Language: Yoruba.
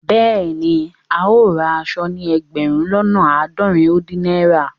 Bẹẹni, ào rá àṣọ̀ ní ẹgbérùn lọ́nà aádọ́rìn ó dìn naira.